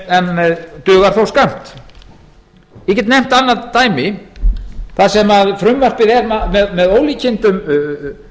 en dugar þó skammt ég get nefnt annað dæmi þar sem frumvarpið er með ólíkindum